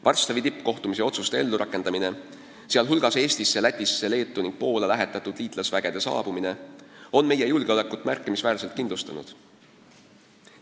Varssavi tippkohtumise otsuste ellu rakendamine, sh Eestisse, Lätisse, Leetu ning Poola lähetatud liitlasüksuste saabumine on meie julgeolekut märkimisväärselt kindlustanud.